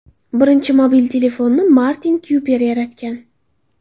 Birinchi mobil telefonni Martin Kuper yaratgan.